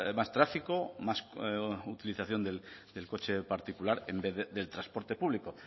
más tráfico más utilización del coche particular en vez del transporte público